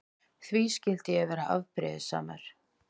Því skyldi ég vera afbrýðisamur?